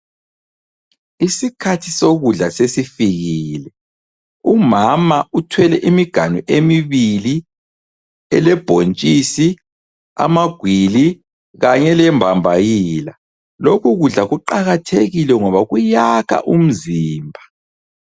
Isikhathi sokudla sesifikile. Umama uthwele imiganu emibili elebhontshisi, amagwili kanye lembambayila. Lokhu kudla kuqakathekile ngoba kuyakha umzimba.